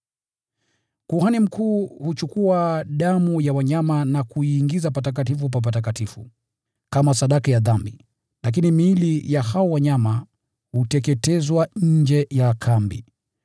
Kuhani mkuu huchukua damu ya wanyama na kuiingiza Patakatifu pa Patakatifu, kama sadaka ya dhambi, lakini miili ya hao wanyama huteketezwa nje ya kambi.